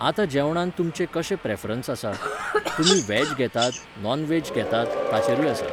आतां जेवणांत तुमचें कशें प्रेफरन्सआसा? तुमी वॅज घेतात, नॉन वॅज घेतात ताचेरूय आसा